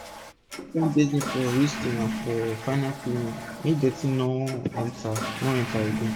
use different basin for rinsing and for final cleaning make dirty no enter no enter again